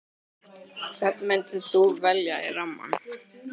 Hvern myndir þú velja í rammann?